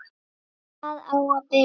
Hvar á að byrja?